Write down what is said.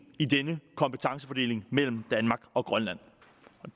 i denne kompetencefordeling mellem danmark og grønland